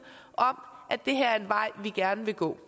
at det her er en vej vi gerne vil gå